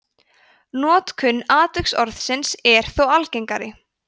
notkun atviksorðsins er þó algengari